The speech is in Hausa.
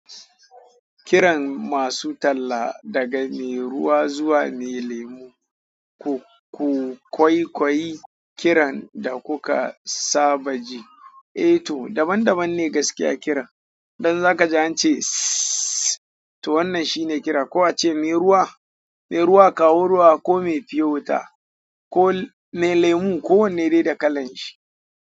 Kiran masu talla daga me ruwa zuwa me lemu, ku, ku kwaikwayi kiran da kuka saba ji. Eh to daban daban ne gaskiya kiran. Don zaka ji an ce sss to wannan shine kira ko ace me ruwa, me ruwa kawo ruwa ko me fiyota ko me lemu ko wanne dai da kalan shi.